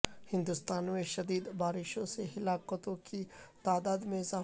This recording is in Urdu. ہندوستان میں شدید بارشوں سے ہلاکتوں کی تعداد میں اضافہ